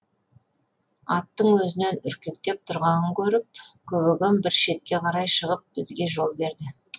аттың өзінен үркектеп тұрғанын көріп көбеген бір шетке қарай шығып бізге жол берді